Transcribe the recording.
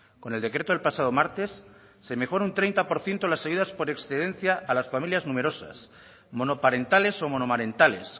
con el decreto del pasado martes se mejora un treinta por ciento las ayudas por excedencia a las familias numerosas monoparentales o monomarentales